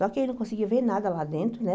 Só que aí não conseguia ver nada lá dentro, né?